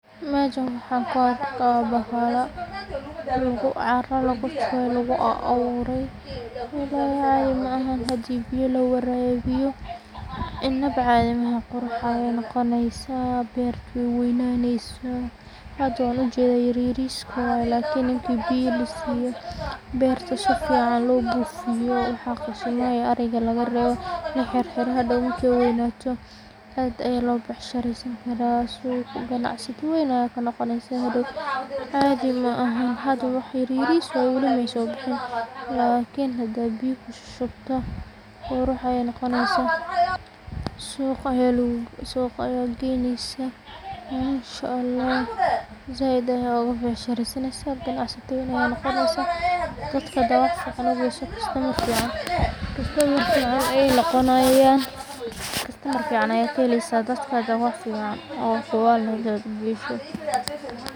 Meshan waxaan ku arkaa bahalo caro lagu shubay, lagu a abuuray walaahi caadi maaha hadii biyo lawarabiyo inaba caadi maaha qurux ayeey noqoneysa beerta weey weynanesaa, hada waan ujeedaa yaryariskoo waye lakin intii biyo lasiiyo beerta sifican loo buufiyo waxa qashimaha iyo ariga laga reebo laxirxiro hadhoow markeey weeynato aad aya looga becsharesan kara suqaa ganacsda ween ayaa kanoqoneysaa hadhow caadi mahan hada wax yaryaris waye wali mrrysoo bixin lakin hada biyo kushushubto qurux ayee noqoneysaa suuqa ayaa geenesa mansha, allah zaaid ayaa ooga beecsharesanesa waxa noqoneysaa dadka hada wax fican ugeso costomer fican ayaa yelaneysa, costomer fiican ayaa kaheleysa dadka hada wax fican oo hubaal eh hadaa ugeeso.